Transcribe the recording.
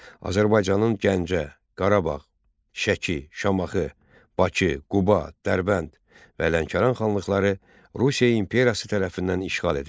Azərbaycanın Gəncə, Qarabağ, Şəki, Şamaxı, Bakı, Quba, Dərbənd və Lənkəran xanlıqları Rusiya imperiyası tərəfindən işğal edildi.